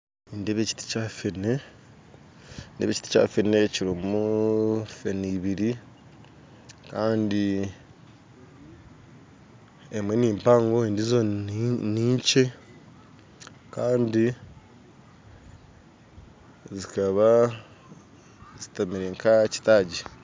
Nindeeba ekiti Kyafene nindeeba ekiti Kyafene kirumu fene ibiri kandi emwe nimpango endiijo ninkye kandi zikaba zitemire nkahakyitagi.